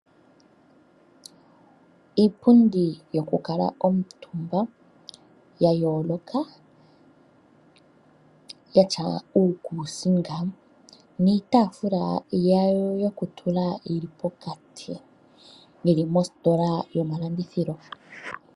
Iipundi yokukala omutumba yayooloka yatya iikusinga niitaafula yayo yokutula yili pokati, yi li mositola yomalandithilo.